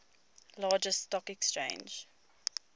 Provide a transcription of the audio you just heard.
largest stock exchange